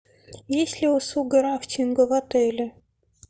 есть ли услуга рафтинга в отеле